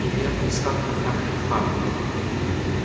илья поискал в контактах папу